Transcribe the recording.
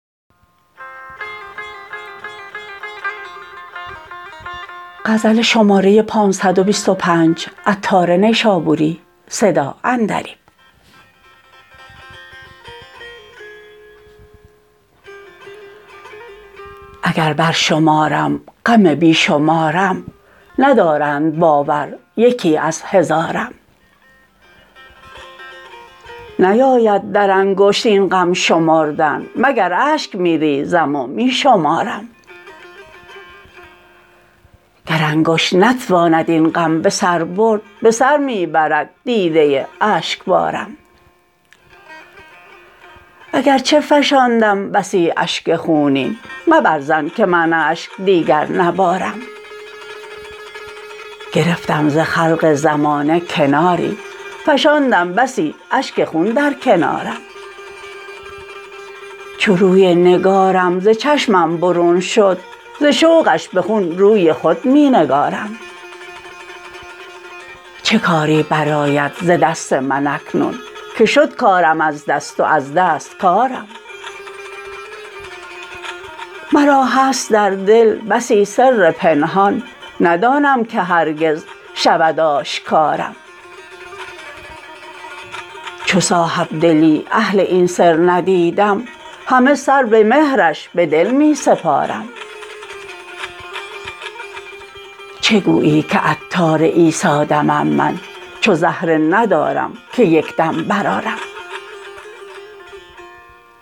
اگر برشمارم غم بیشمارم ندارند باور یکی از هزارم نیاید در انگشت این غم شمردن مگر اشک می ریزم و می شمارم گر انگشت نتواند این غم به سر برد به سر می برد دیده اشکبارم اگرچه فشاندم بسی اشک خونین مبر ظن که من اشک دیگر نبارم گرفتم ز خلق زمانه کناری فشاندم بسی اشک خون در کنارم چو روی نگارم ز چشمم برون شد ز شوقش به خون روی خود می نگارم چه کاری بر آید ز دست من اکنون که شد کارم از دست و از دست کارم مرا هست در دل بسی سر پنهان ندانم که هرگز شود آشکارم چو صاحب دلی اهل این سر ندیدم همه سر به مهرش به دل می سپارم چه گویی که عطار عیسی دمم من چو زهره ندارم که یکدم برآرم